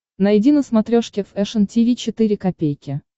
найди на смотрешке фэшн ти ви четыре ка